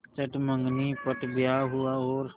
चट मँगनी पट ब्याह हुआ और